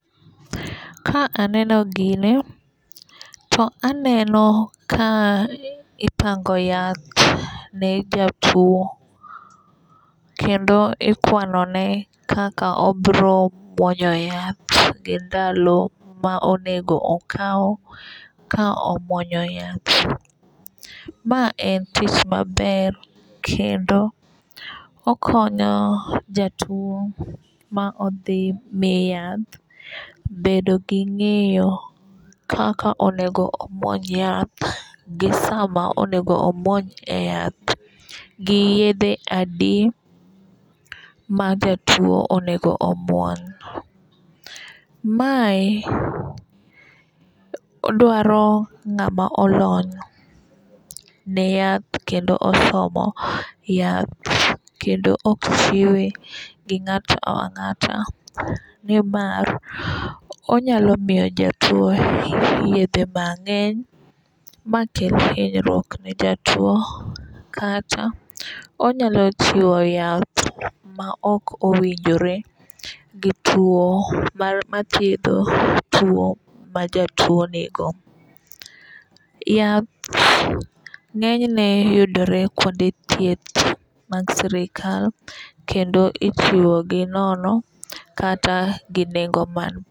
Ka aneno gini to aneno ka ipango yath ne jatuo kendo ikwano ne kaka obro muonyo yath gi ndalo ma onego okaw ka omuonyo yath. Ma en tich maber kendo okonyo jatuo ma odhi mi yath bedo gi ng'eyo kaka onego omuony yath gi sama onego omuony e yath gi yedhe adi ma jatuo onego omuony. Mae dwaro ng'ama olony ne yath kendo osomo yath kendo ok chiwe gi ng'ato ang'ata nimar onyalo miyo jatuo yedhe mang'eny makel hinyruok ne jatuo kata onyalo chiwo yath ma ok owinjore gi tuo mar mathiedho tuo ma jatuo nigo. Yath ng'enyne yudore kuonde thieth mag sirikal kendo ichiwo gi nono kata gi nengo man piny